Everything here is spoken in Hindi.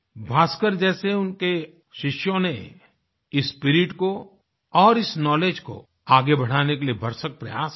भास्कर जैसे उनके शिष्यों ने इस स्पिरिट को और इस नाउलेज को आगे बढ़ाने के लिएभरसक प्रयास किये